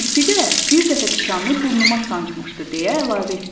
Kirpi də bir dəfə tikanlı burnunu sancmışdı deyə əlavə etdi.